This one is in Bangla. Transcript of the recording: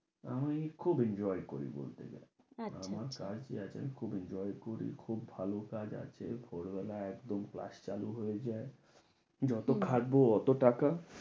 আমি খুব enjoy করি বলতে গেলে, আচ্ছা আচ্ছা, আমার কাজ কি আছে আমি খুব enjoy করি, খুব ভালো কাজ আছে, ভোরবেলা একদম class চালু হয়ে যায় যত খাটবো ততো টাকা।